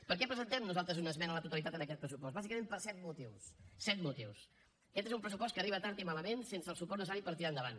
per què presentem nosaltres una esmena a la totalitat en aquest pressupost bàsicament per set motius set motius aquest és un pressupost que arriba tard i malament sense el suport necessari per tirar endavant